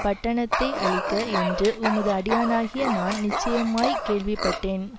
பட்டணத்தை அழிக்க என்று உமது அடியானாகிய நான் நிச்சயமாய்க் கேள்விப்பட்டேன்